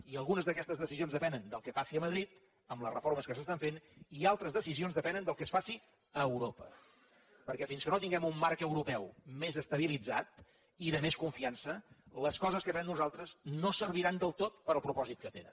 i algunes d’aquestes decisions depenen del que passi a madrid amb les reformes que s’estan fent i altres decisions depenen del que es faci a europa perquè fins que no tinguem un marc europeu més estabilitzat i de més confiança les coses que fem nosaltres no serviran del tot per al propòsit que tenen